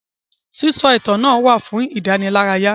Sísọ ìtàn náà wà fún ìdánilárayá.